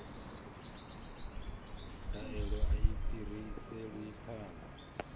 ndaela a i fhiriselwi phanḓa